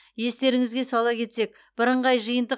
естеріңізге сала кетсек бірыңғай жиынтық